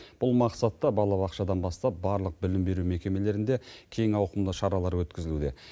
бұл мақсатта балабақшадан бастап барлық білім беру мекемелерінде кең ауқымды шаралар өткізілуде